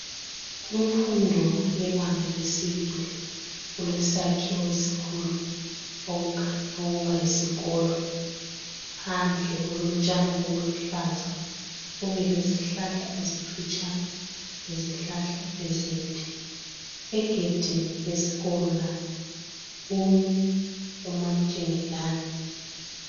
kumfundo yebanga lesibili kulesakhiwo esikhulu okukhanya ukuba yisikolo phandle kulotshani obuluhlaza kube lezihlahla ezimfitshane lezihlahla ezinde egedini lesikolo lapho kumi umansthingelani